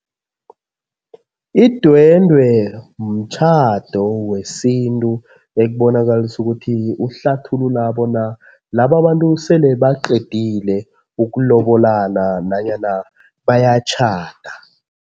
Idwendwe mtjhado wesintu ekubonakalisa ukuthi uhlathulula bona laba bantu sele baqedile ukulobolana nanyana bayatjhada.